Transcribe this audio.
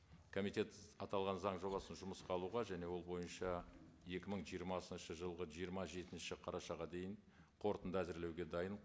комитет аталған заң жобасын жұмысқа алуға және ол бойынша екі мың жиырмасыншы жылғы жиырма жетінші қарашаға дейін қорытынды әзірлеуге дайын